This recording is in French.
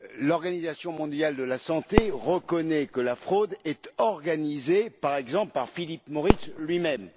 l'Organisation mondiale de la santé reconnaît que la fraude est organisée, par exemple, par Philip Morris lui même.